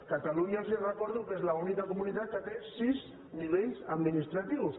catalunya els ho recordo és l’única comunitat que té sis nivells administratius